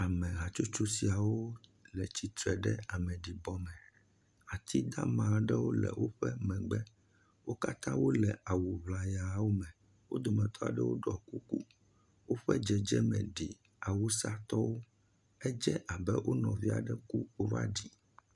Ame hatsotso siawo le tsitre ɖe ameɖi bɔme, atsi dama aɖewo le woƒe megbe, wo kata wole awu ʋlayawo me, wo dome tɔa ɖewo ɖɔ kuku, woƒe dzedze me ɖi awusa tɔwo, edze abe wo nɔvia ɖe ku wo va ɖi.